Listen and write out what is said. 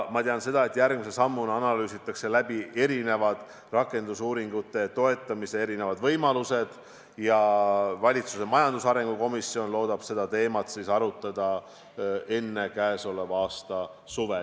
Ma tean seda, et järgmise sammuna analüüsitakse läbi rakendusuuringute toetamise võimalused ja valitsuse majandusarengu komisjon loodab seda teemat arutada enne selle aasta suve.